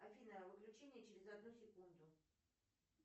афина выключение через одну секунду